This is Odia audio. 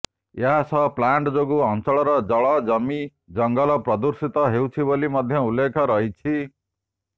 ଏହା ସହ ପ୍ଲାଣ୍ଟ ଯୋଗୁଁ ଅଞ୍ଚଳର ଜଳ ଜମି ଜଙ୍ଗଲ ପ୍ରଦୂଷିତ ହେଉଛି ବୋଲି ମଧ୍ୟ ଉଲ୍ଲେଖ ରହିଛି